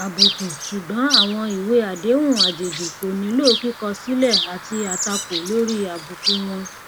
àbùkù ṣùgbọn àwọn ìwé àdéhùn àjèjì kò nílò kíkọ sílẹ àti àtakò lórí àbùkù wọn